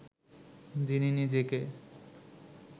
যিনি নিজেকে